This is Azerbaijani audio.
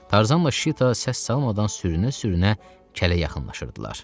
Tarzanla Şita səs salmadan sürünə-sürünə kələ yaxınlaşırdılar.